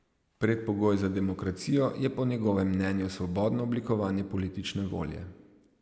Predpogoj za demokracijo je po njegovem mnenju svobodno oblikovanje politične volje.